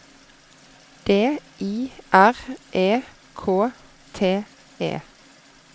D I R E K T E